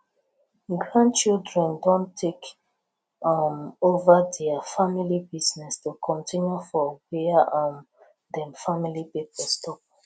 grandchildren don take um over dia family business to continue for whia um dem family pipo stop